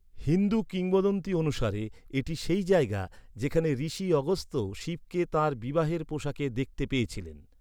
হিন্দু কিংবদন্তি অনুসারে, এটি সেই জায়গা যেখানে ঋষি অগস্ত্য শিবকে তাঁর বিবাহের পোশাকে দেখতে পেয়েছিলেন।